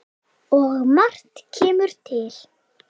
Og margt kemur til.